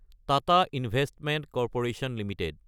Tata investment corporation Ltd